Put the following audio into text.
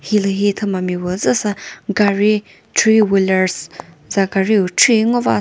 hilühi thüma mipü züsa gari three Wheeler's za gari pü khri ngova sa --